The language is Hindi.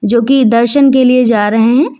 जो की दर्शन के लिए जा रहे हैं।